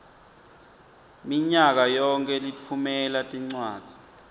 minyakayonkhe litfumela tincwadzi